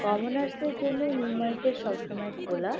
Commoners -দের জন্যে সবসময় খোলা নিউ মার্কেট সবসময় খোলা।